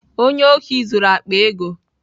Onye ohi zuru akpa ego.